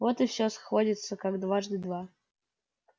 вот и всё сходится как дважды два